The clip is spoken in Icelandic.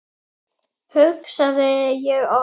hugsaði ég oft.